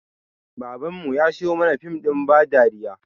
Baban mu ya siyo mana fim ɗin ba dariya